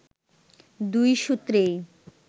দুই সূত্রেই